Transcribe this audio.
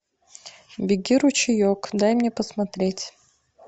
беги ручеек дай мне посмотреть